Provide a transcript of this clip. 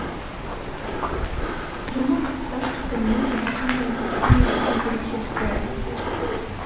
жұмыр құрттар типіне жататын жәндіктердің негізгі ерекшеліктері